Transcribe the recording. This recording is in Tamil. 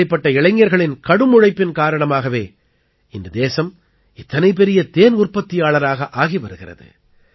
இப்படிப்பட்ட இளைஞர்களின் கடும் உழைப்பின் காரணமாகவே இன்று தேசம் இத்தனை பெரிய தேன் உற்பத்தியாளராக ஆகி வருகிறது